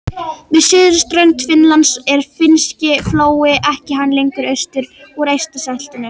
Við suðurströnd Finnlands er Finnski flói en hann gengur austur úr Eystrasaltinu.